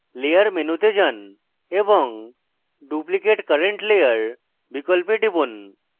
layer মেনুতে যান এবং duplicate current layer বিকল্পে টিপুন